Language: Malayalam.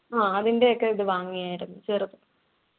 ആഹ് അതിൻ്റെ ഒക്കെ ഇത് വാങ്ങിയായിരുന്നു ചെറുത്